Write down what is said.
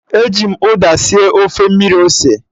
E ji m uda sie Ofe mmiri ose